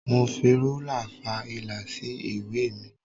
Mo fi ruler fa ìlà sí ìwé mi.